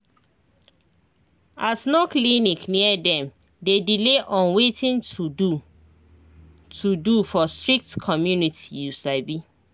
as no clinic near dem dey delay on watin to to do for strict community you sabi